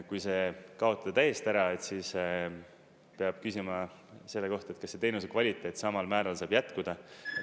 Kui see kaotada täiesti ära, siis peab küsima selle kohta, et kas see teenuse kvaliteet samal määral saab jätkuda.